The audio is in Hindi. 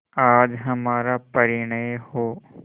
आज हमारा परिणय हो